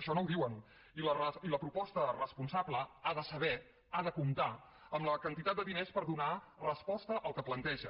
això no ho diuen i la proposta responsable ha de saber ha de comptar amb la quantitat de diners per donar resposta al que planteja